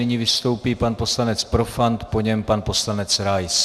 Nyní vystoupí pan poslanec Profant, po něm pan poslanec Rais.